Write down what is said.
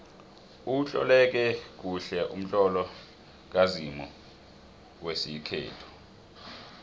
utloleke kuhle umtlolo kazimu wesikhethu